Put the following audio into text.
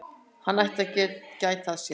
Hann ætti að gæta að sér.